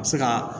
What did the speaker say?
A bɛ se ka